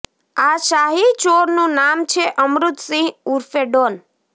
આ શાહી ચોરનું નામ છે અમૃત સિંહ ઉર્ફે ડોન